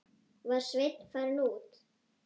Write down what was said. Var Sveinn farinn út?